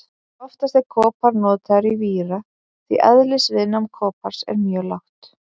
Oftast er kopar notaður í víra því eðlisviðnám kopars er mjög lágt.